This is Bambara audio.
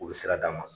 U bɛ sira d'a ma